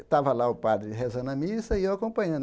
Estava lá o padre rezando a missa e eu acompanhando.